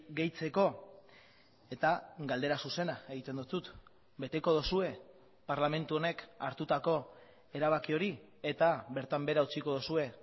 gehitzeko eta galdera zuzena egiten dizut beteko duzue parlamentu honek hartutako erabaki hori eta bertan behera utziko duzue